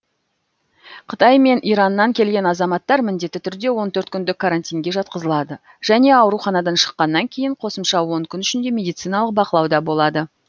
қытай мен ираннан келген азаматтар міндетті түрде он төрт күндік карантинге жатқызылады және ауруханадан шыққаннан кейін қосымша он күн ішінде медициналық бақылауда болады